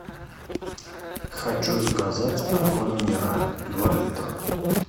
хочу заказать аква минерале два литра